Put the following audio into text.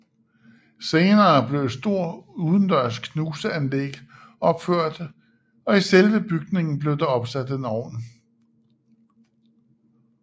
Senere blev et stor udendørs knuseanlæg opført og i selve bygningen blev der opsat en ovn